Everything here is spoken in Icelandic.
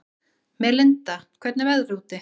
Melinda, hvernig er veðrið úti?